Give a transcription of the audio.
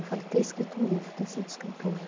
Eu falei, ter escrito um livro, ter sido escritora.